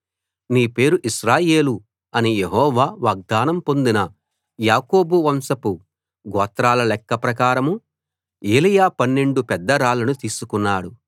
నీ పేరు ఇశ్రాయేలు అని యెహోవా వాగ్దానం పొందిన యాకోబు వంశపు గోత్రాల లెక్క ప్రకారం ఏలీయా పన్నెండు పెద్ద రాళ్లను తీసుకున్నాడు